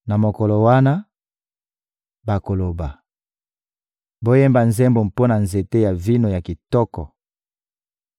Na mokolo wana, bakoloba: «Boyemba nzembo mpo na nzete ya vino ya kitoko: